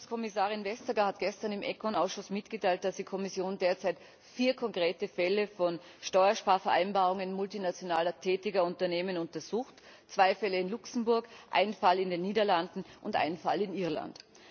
Wettbewerbskommissarin Vestager hat gestern im ECON Ausschuss mitgeteilt, dass die Kommission derzeit vier konkrete Fälle von Steuersparvereinbarungen multinational tätiger Unternehmen untersucht, zwei Fälle in Luxemburg, einen Fall in den Niederlanden und einen Fall in Irland.